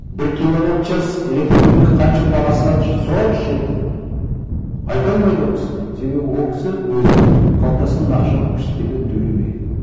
бір киловатт час электроэнергия қанша бағасы қанша сұраңызшы ертең айта алмайды ол кісі себебі ол кісі өзінің қалтасынан ақша алып ештеңе төлемеген